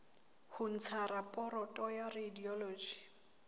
ho ntsha raporoto ya radiology